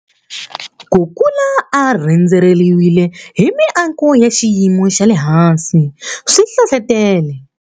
Ku kula a rhendzeriwile hi miako ya xiyimo xa le hansi swi hlohlotele.